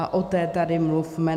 A o té tady mluvme.